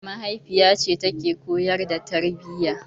Mahaifiyace take koyar da tarbiyya.